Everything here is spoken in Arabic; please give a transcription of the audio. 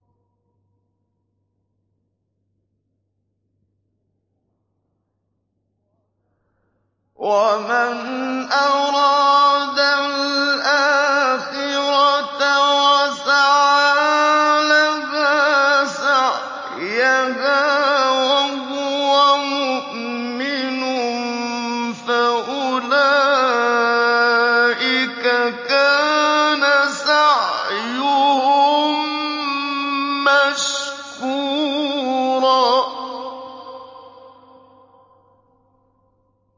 وَمَنْ أَرَادَ الْآخِرَةَ وَسَعَىٰ لَهَا سَعْيَهَا وَهُوَ مُؤْمِنٌ فَأُولَٰئِكَ كَانَ سَعْيُهُم مَّشْكُورًا